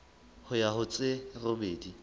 ho ya ho tse robedi